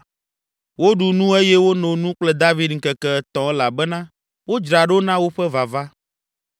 Woɖu nu eye wono nu kple David ŋkeke etɔ̃ elabena wodzra ɖo na woƒe vava.